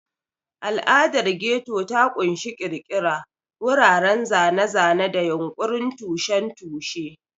Al'adar Ghetto ta ƙunshi ƙirƙira, wuraren zane-zane, da yunƙurin tushen tushe.